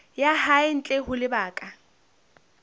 ya hae ntle ho lebaka